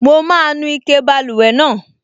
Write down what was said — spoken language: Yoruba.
Mo máa nu ike báluwẹ̀ náà